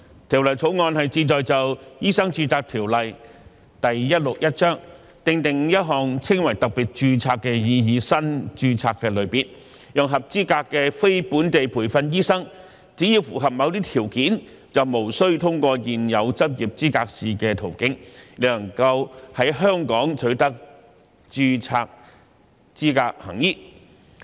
《條例草案》旨在就《醫生註冊條例》訂定一項稱為特別註冊的擬議新註冊類別，讓合資格的非本地培訓醫生只要符合某些條件，便無須通過現有執業資格試的途徑，亦能夠在香港取得註冊資格行醫。